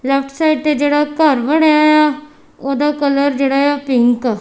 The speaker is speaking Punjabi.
ਲੇਫਟ ਸਾਈਡ ਤੇ ਜੇਹੜਾ ਘੱਰ ਬਣੇਆਯਾ ਓਹਦਾ ਕਲਰ ਜੇਹੜਾਯਾ ਪਿੰਕ ।